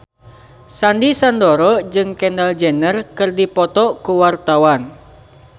Sandy Sandoro jeung Kendall Jenner keur dipoto ku wartawan